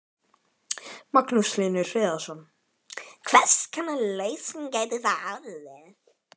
Magnús Hlynur Hreiðarsson: Hvers konar lausn gæti það orðið?